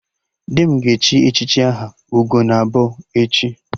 Di m ga-echi echichi aha 'Ugonabọ' echi